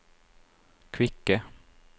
kvikke